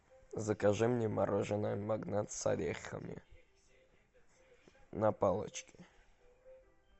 закажи мне мороженое магнат с орехами на палочке